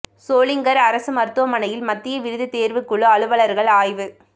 சோளிங்கா் அரசு மருத்துவமனையில் மத்திய விருது தோ்வுக் குழு அலுவலா்கள் ஆய்வு